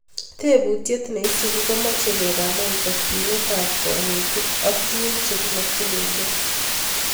Tebutiet nesubu komache kegaman takyinet ab kanetik ak tuguk chegimakyingei